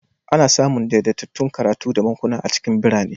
Ana samun daidaitattun makarantu da bankuna a cikin birane.